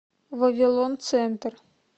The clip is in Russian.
вавилон центр